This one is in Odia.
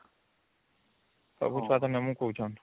ସବୁ ଛୁଆ ତ ନବୁ କହୁଚନ